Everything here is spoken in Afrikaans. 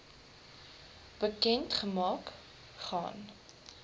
bekend gemaak gaan